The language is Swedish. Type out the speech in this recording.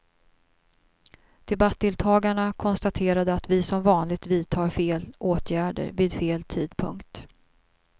Debattdeltagarna konstaterade att vi som vanligt vidtar fel åtgärder vid fel tidpunkt.